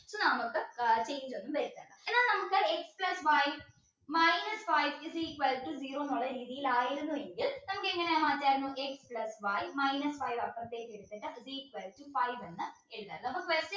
ഇത് നമുക്ക് വരുത്തേണ്ട എന്നാൽ നമുക്ക് x plus y minus five is equal to zero ന്നുള്ള രീതിയിൽ ആയിരുന്നു എങ്കിൽ നമുക്ക് എങ്ങനെ മാറ്റായിരുന്നു x plus y minus five അപ്പുറത്തേക്ക് എടുത്തിട്ട് is equal to five എന്ന് എഴുതായിരുന്നു അപ്പോ